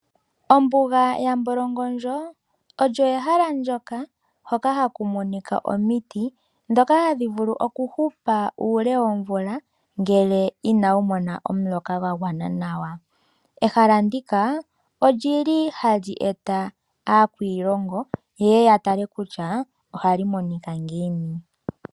Ombuga yambolongondjo olyo ehala ndjoka haku monika omiti ndhoka hadhi vulu okuhupa uule woomvula kutya ina dhimona omuloka gwagwana nawa. Ehala ndika oha li eta aakwiilongo, ye ye yatale kutya oha li monika ngiini.